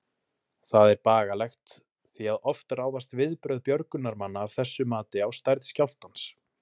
Það er bagalegt, því að oft ráðast viðbrögð björgunarmanna af þessu mati á stærð skjálftans.